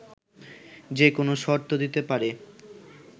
যেকোনো শর্ত দিতে পারে